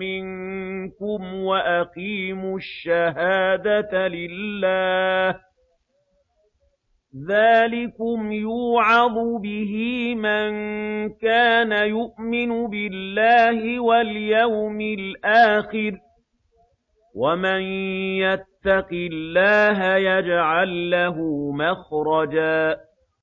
مِّنكُمْ وَأَقِيمُوا الشَّهَادَةَ لِلَّهِ ۚ ذَٰلِكُمْ يُوعَظُ بِهِ مَن كَانَ يُؤْمِنُ بِاللَّهِ وَالْيَوْمِ الْآخِرِ ۚ وَمَن يَتَّقِ اللَّهَ يَجْعَل لَّهُ مَخْرَجًا